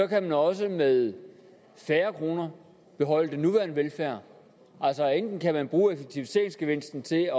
kan man også med færre kroner beholde den nuværende velfærd altså enten kan man bruge effektiviseringsgevinsten til at